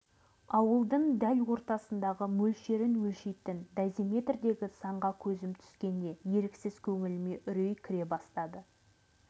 ауылдың дәл ортасындағы мөлшерін өлшейтін дозиметрдегі санға көзім түскенде еріксіз көңіліме үрей кіре бастады